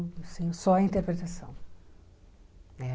só a interpretação né.